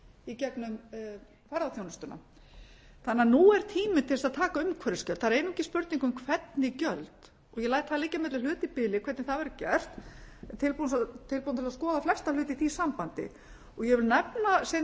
í gegnum ferðaþjónustuna þannig að nú er tími til þess að taka umhverfisgjöld það er einungis spurning um hvernig gjöld ég læt það liggja á milli hluta í bili hvernig það verður gert en er tilbúin til að skoða flesta hluti í því sambandi ég vil nefna sem